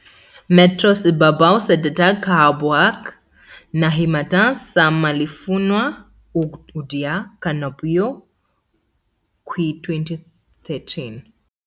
metros ibabaw sa dagat kahaboga ang nahimutangan sa Mulifanua, ug adunay ka molupyo, kwi2013.